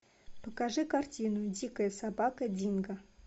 покажи картину дикая собака динго